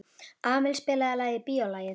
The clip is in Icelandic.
Amil, spilaðu lagið „Bíólagið“.